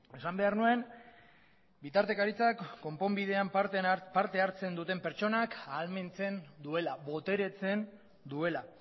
esan behar nuen bitartekaritzak konponbidean parte hartzen duten pertsonak ahalmentzen duela boteretzen duela